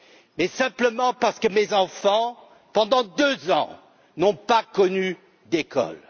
Mais simplement parce que mes enfants, pendant 2 ans, n'ont pas connu d'école.